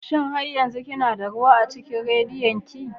Shin har yanzu kana da ruwa a cikin radiyon ki?